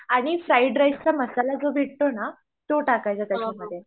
आणि फ्राईड राईसचा मसाला जो भेटतोना तो टाकायचा त्याच्यामध्ये.